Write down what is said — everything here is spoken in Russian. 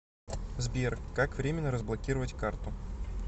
сбер как временно разблокировать карту